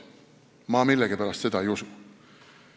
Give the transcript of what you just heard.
Ma millegipärast seda ei usu.